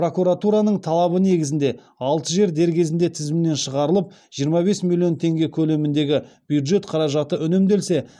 прокуратураның талабы негізінде алты жер дер кезінде тізімнен шығарылып жиырма бес миллион теңге көлеміндегі бюджет қаражаты үнемделсе